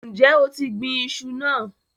Ǹjẹ́ o ti gbin iṣu náà?